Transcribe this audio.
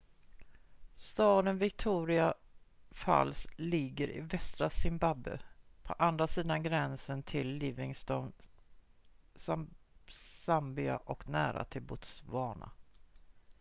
staden victoria falls ligger i västra zimbabwe på andra sidan gränsen till livingstone zambia och nära botswana